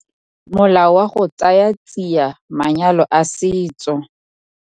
Molao wa go Tsaya Tsia Manyalo a Setso.